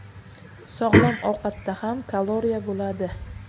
Sog‘lom ovqatda ham kaloriya bo‘ladi.